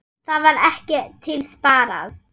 Þar var ekkert til sparað.